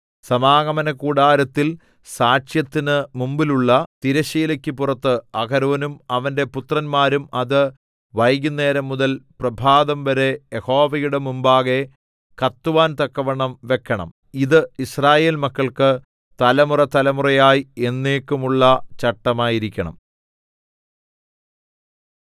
സമാഗമനകൂടാരത്തിൽ സാക്ഷ്യത്തിന് മുമ്പിലുള്ള തിരശ്ശീലയ്ക്ക് പുറത്ത് അഹരോനും അവന്റെ പുത്രന്മാരും അത് വൈകുന്നേരംമുതൽ പ്രഭാതംവരെ യഹോവയുടെ മുമ്പാകെ കത്തുവാൻ തക്കവണ്ണം വെക്കണം ഇത് യിസ്രായേൽ മക്കൾക്ക് തലമുറതലമുറയായി എന്നേക്കുമുള്ള ചട്ടമായിരിക്കണം